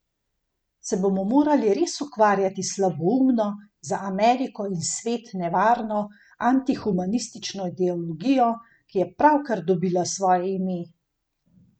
Se bomo morali res ukvarjati s slaboumno, za Ameriko in svet nevarno, antihumanistično ideologijo, ki je pravkar dobila svoje ime?